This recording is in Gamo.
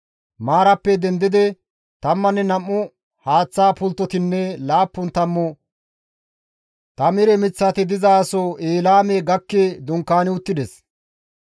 Maarappe dendidi tammanne nam7u haaththa pulttotinne laappun tammu tamire miththati dizaso Eelaame gakki dunkaani uttides.